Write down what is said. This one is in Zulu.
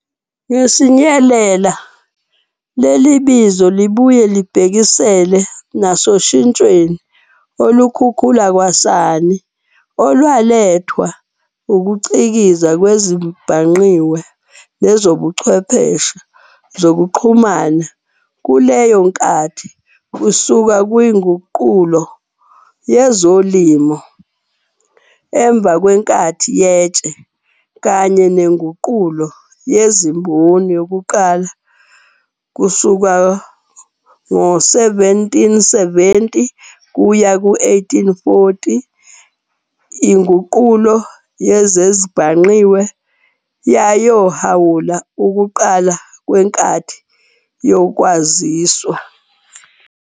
Ngesinyelela, leli bizo libuye libhekisele nasoshintshweni olukhukhula kwasani olwalethwa ukucikiza kwezezibhangqiwe nezobuchwepheshe zokuxhumana kuleyo nkathi. Kusuka kwiNguqulo yezoLimo, emva kwenkathi yeTshe, kanye neNguqulo yeziMboni yokuqala, 1770-1840, INguqulo yezezibhangqiwe yaohawula ukuqala kwenkathi yoKwaziswa.